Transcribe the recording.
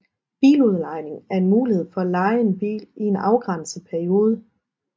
Biludlejning er en mulighed for at leje en bil i en afgrænset periode